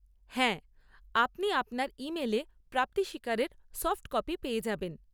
হ্যাঁ, আপনি আপনার ইমেলে প্রাপ্তি স্বীকারের সফট কপি পেয়ে যাবেন।